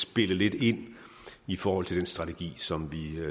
spille lidt ind i forhold til den strategi som vi